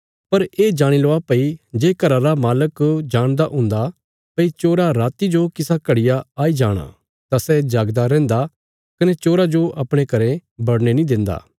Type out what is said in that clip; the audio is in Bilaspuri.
पर ये जाणी लवा भई जे घरा रा मालक जाणदा हुन्दा भई चोरा राति जो किसा घड़िया आई जाणा तां सै जागदा रैहन्दा कने चोरा जो अपणे घरें बड़ने नीं देन्दा